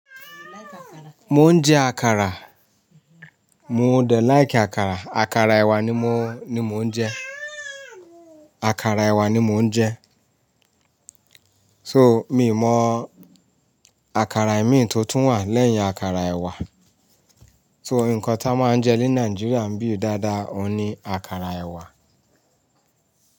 Mò ń jẹ àkàrà. Mo de like àkàrà. Àkàrà ẹ̀wà ni mò ń jẹ. Àkàrà ẹ̀wà ni mò ń jẹ. So mi mọ àkàrà ẹ̀mí tí ó tún wà lẹ́yìn àkàrà ẹ̀wà. So ǹkan tí a máa ń jẹ ní Nàìjíríà ń bì dáadáa ọ̀ ní àkàrà ẹ̀wà.